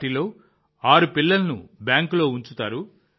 వాటిలో 6 పిల్లలను బ్యాంకులో ఉంచుతారు